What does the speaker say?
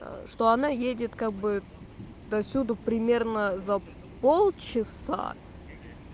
что она едет как бы до сюда примерно за полчаса